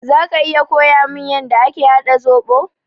Zaka iya koyamin yanda ake haɗa zoɓo?